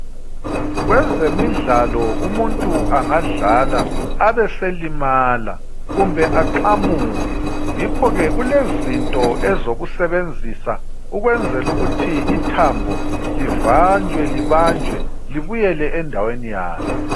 Kwezemidlalo umuntu angadlala abeselimala kumbe aqamuke. Yikho ke kulezinto ezokusebenzisa ukwenzela ukuthi ithambo livanjwe libanjwe libuyele endaweni yalo.